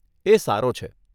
એ સારો છે.